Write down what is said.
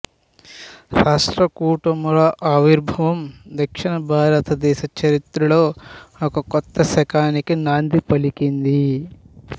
రాష్ట్రకూటుల ఆవిర్భావం దక్షిణ భారతదేశ చరిత్రలో ఒక కొత్త శకానికి నాంది పలికింది